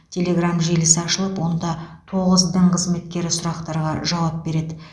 телеграмм желісі ашылып онда тоғыз дін қызметкері сұрақтарға жауап береді